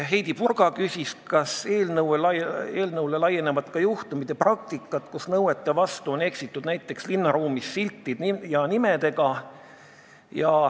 Heidy Purga küsis, kas eelnõu hõlmab ka juhtumeid ja praktikat, kui nõuete vastu eksivad näiteks linnaruumis asuvad sildid ja nimed.